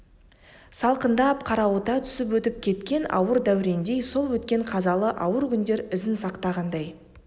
салқындап қарауыта түсіп өтіп кеткен ауыр дәурендей сол өткен қазалы ауыр күндер ізін сақтағандай